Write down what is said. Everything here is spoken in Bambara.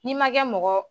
N'i ma kɛ mɔgɔ